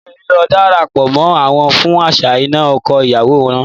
Mi ò ní dara pọ̀ mọ́ wọn fún àṣà ìnà ọkọ ìyàwó náà.